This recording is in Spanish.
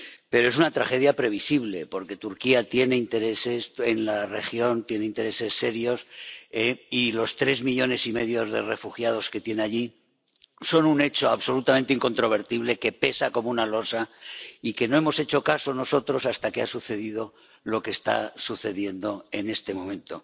Pero es una tragedia previsible, porque Turquía tiene intereses en la región —tiene intereses serios— y los tres millones y medio de refugiados que tiene allí son un hecho absolutamente incontrovertible, que pesa como una losa, y al que no hemos hecho caso nosotros hasta que ha sucedido lo que está sucediendo en este momento.